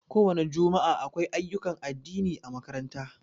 Ko wani jumua'a, akwai ayyukan addini ã makaranta.